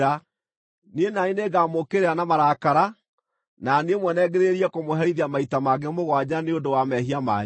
niĩ na niĩ nĩngamũũkĩrĩra na marakara na niĩ mwene ngĩrĩrĩrie kũmũherithia maita mangĩ mũgwanja nĩ ũndũ wa mehia manyu.